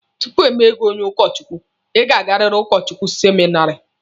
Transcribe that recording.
Tupu emee gị onye ụkọ Chukwu, Ị ga-agariri ụlọakwụkwọ seminari.